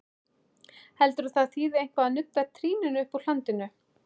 Heldurðu að það þýði eitthvað að nudda trýninu uppúr hlandinu!